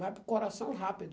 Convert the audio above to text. Vai para o coração rápido.